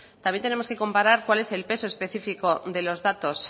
también tenemos que comparar cuál es el peso específico de los datos